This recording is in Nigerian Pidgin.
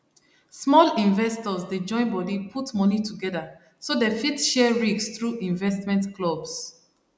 small investors dey join body put money together so dem fit share risk through investment clubs